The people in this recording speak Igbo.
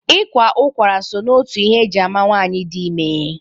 Ịkwa ụkwara so n'otu ihe eji ama nwaanyị dị ime.